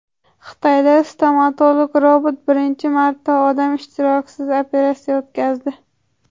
Xitoyda stomatolog robot birinchi marta odam ishtirokisiz operatsiya o‘tkazdi.